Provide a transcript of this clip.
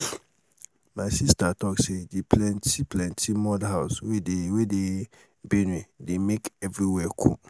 my sista talk sey di plenty plenty mud house wey dey wey dey benue dey make everywhere cool.